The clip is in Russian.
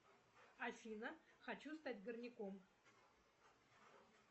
афина хочу стать горняком